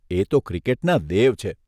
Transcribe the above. એ તો ક્રિકેટના દેવ છે.